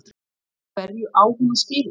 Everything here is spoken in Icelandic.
Hverju á hún að skila?